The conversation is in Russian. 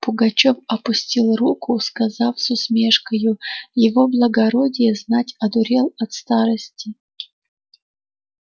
пугачёв опустил руку сказав с усмешкою его благородие знать одурел от сиарости